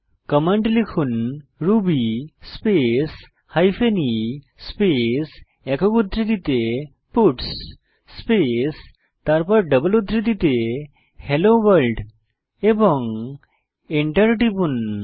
command লিখুন Ruby space hyphen e space একক উদ্ধৃতিতে পাটস স্পেস তারপর ডাবল উদ্ধৃতিতে হেলো ভোর্ল্ড এবং এন্টার টিপুন